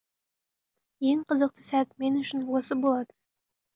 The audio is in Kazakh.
ең қызықты сәт мен үшін осы болатын